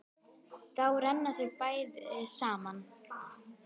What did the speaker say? Þá renna þær betur saman.